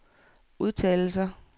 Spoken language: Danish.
udtalelser